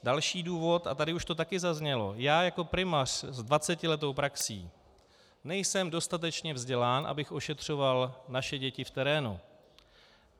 Další důvod, a tady už to taky zaznělo: Já jako primář s 20letou praxí nejsem dostatečně vzdělán, abych ošetřoval naše děti v terénu.